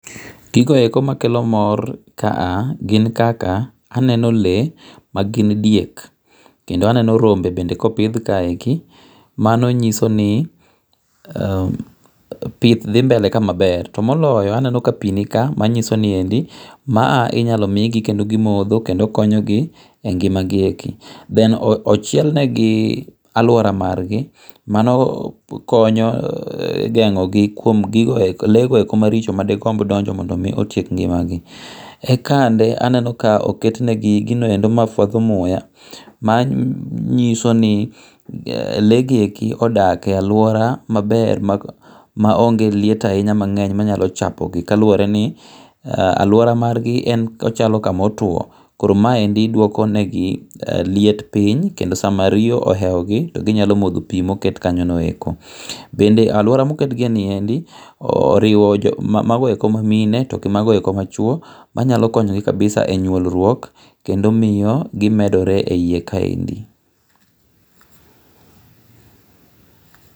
Gigo e ko ma kelo mor ka a gin kaka aneno lee ma gin diek kendo a neno rombe bende ka opidh ka e ki mano ngiso ni pith dhi mbele ka e ma ber to moloyo a neno ka pii ni kae ma ngiso ni e ndi ma i nyalo mi gi modho kendo konyo gi e ngima gi e ki then ochiel ne gi alwuora mar gi mano konyo gengo gi kuom lee e ko maricho ma di gombo donjo mondo mi otiek ngima gi e kande aneno ka oket ne gi gino e ndi ma fuadho ne gi muya ma ngiso ni legi e ki odak e alwuora ma ber ma onge liet a hinya mangey ma nyalo chapo gi ka luore ni aluora mar gi en ochalo kama otwo to ma e ndi dwoko negi liet piny kendo sama riyo o hewo gi to gi nyalo modho pii ma oket ne gi kanyo no e ko bende a luoro ma oket gi ni e ndi o riwo mago e ko ma mine to ma go e ko ma chuwo ma nyalo konyo gi kabisa e nyuolwruok kendo miyo gi medore e iye ka e ndi.